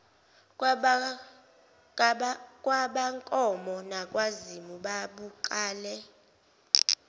kwabakankomo nakwazimu babuqale